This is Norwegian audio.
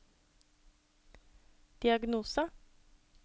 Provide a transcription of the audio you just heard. diagnose